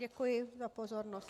Děkuji za pozornost.